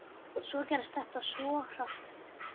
Svo gerðist þetta svo hratt.